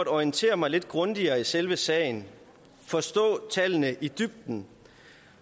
at orientere mig lidt grundigere i selve sagen forstå tallene i dybden